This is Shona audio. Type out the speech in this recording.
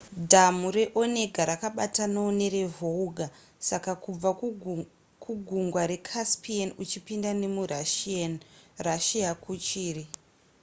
dhamhu reonega rakabatanawo nerevolga saka kubva kugungwa recaspian uchipinda nemurussia kuchiri